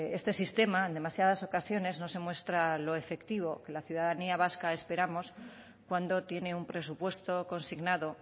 este sistema en demasiadas ocasiones no se muestra lo efectivo que la ciudadanía vasca esperamos cuando tiene un presupuesto consignado